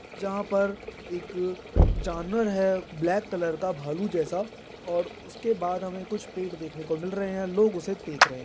जहाँ पर एक जानवर है ब्लैक कलर का भालू जैसा और उसके बाद हमें कुछ पेड़ देखने को मिल रहे है लोग उसे देख रहे है।